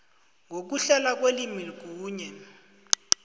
ngokuhlelwa kwelimi kunye